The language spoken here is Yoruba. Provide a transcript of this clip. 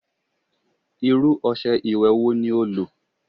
Irú ọṣẹ ìwẹ̀ wo ní o lò?